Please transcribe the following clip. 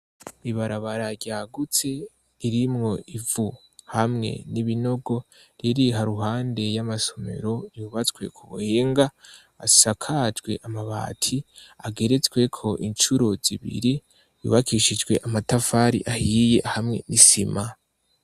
Ibarabara ryagutse irimwo ivu hamwe n'ibinogo ririha ruhande y'amasomero yubatswe ku buhinga asakajwe amabati ageretswe ko incuruz ibiri yubakishijwe amatafari ahiye hamwe n'isima.